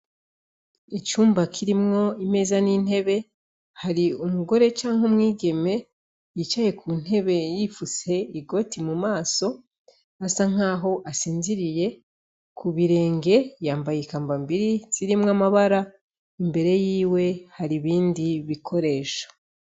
Icumba kirimwo imeza n'intebe hari umugore canke umwigeme yicaye ku ntebe yifuse igoti mu maso asa nk'aho asinziriye ku birenge yambaye ikambambiri zirimwo amabara imbere yiwe hari ibindi bikoresha.